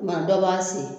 Kuma dɔ b'a si